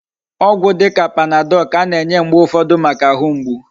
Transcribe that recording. Ogwu dika panadol ka ana enye mgbe ufodu Maka ahu mgbu